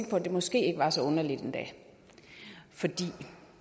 på at det måske ikke er så underligt endda fordi